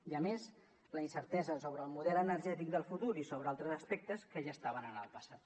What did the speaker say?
i a més la incertesa sobre el model energètic del futur i sobre altres aspectes que ja estaven en el passat